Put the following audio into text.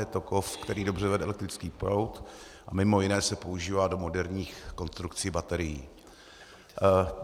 Je to kov, který dobře vede elektrický proud a mimo jiné se používá do moderních konstrukcí baterií.